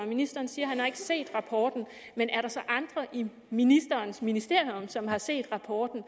ministeren siger at han ikke har set rapporten men er der så andre i ministerens ministerium som har set rapporten